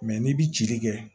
n'i bi cili kɛ